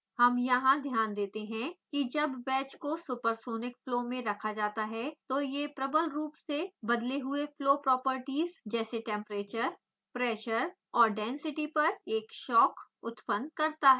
we notice here that when the wedge is kept in supersonic flow it produces a shock across which the flow properties like temprature pressure